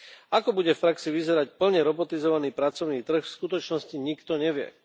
Ako bude v praxi vyzerať plne robotizovaný pracovný trh, v skutočnosti nikto nevie.